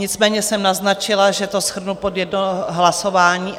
Nicméně jsem naznačila, že to shrnu pod jedno hlasování.